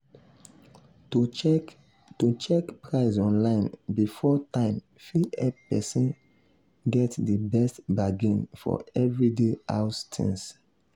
to check to check price online before time fit help person get di best bargain for everyday house things.